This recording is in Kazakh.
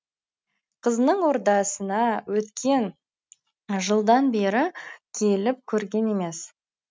қызының ордасына өткен жылдан бері келіп көрген емес